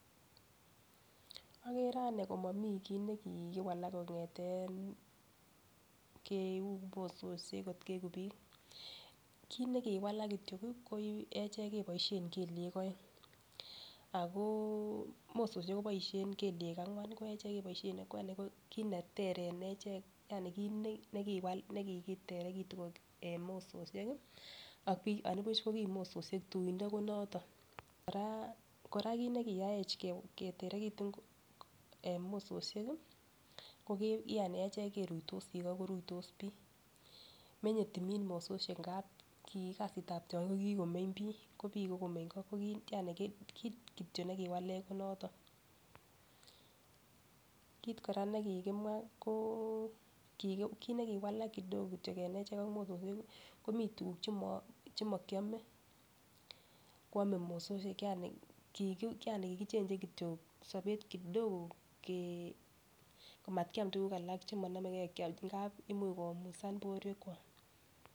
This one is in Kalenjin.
Agere anee komamii kiit nekigowalak kongeten keu mososiek got keegu biik kiit negiwalak kityok koechek keboishen keliek aeng ago mososiek keboisien keliek angwan koechek keboishen ageng ago kiit netee eng echek ko kiit negiwalak negikiteregitun en mososiek ak biik andabuch kokimoisiek tuingo konoton kora kiit nekiyaech keterekitun en mososiek Yani echek keruitosi go ko ruitos bii menyetumin mososiek ndabki kasit tab tiongik ko kigomeny bii kimagomeny go kiit kityok nekiwalech ko noton kiit kora nekiwalech en echek ak mososiek komiten tuguk chemokiyome ago kwame mososiek kikichangen kityok sobet kidogo ke markeyam tuguk alak chemonomege kiyam ngabimuch koumisan borwek kwak